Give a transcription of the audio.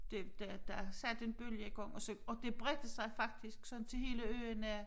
Det der der satte en bølge i gang og så og det bredte sig faktisk sådan til hele øen at